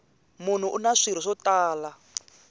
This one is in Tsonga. munhu una swirho swo tala